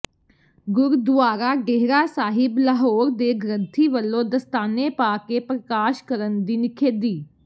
ਗੁਰਦੁਆਰਾ ਡੇਹਰਾ ਸਾਹਿਬ ਲਾਹੌਰ ਦੇ ਗ੍ਰੰਥੀ ਵਲੋਂ ਦਸਤਾਨੇ ਪਾ ਕੇ ਪ੍ਰਕਾਸ਼ ਕਰਨ ਦੀ ਨਿਖੇਧੀ